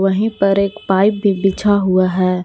वहीं पर एक पाइप भी बिछा हुआ है।